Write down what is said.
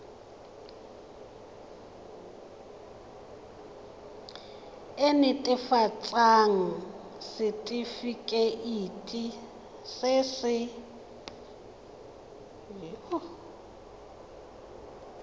nt hafatsa setefikeiti se se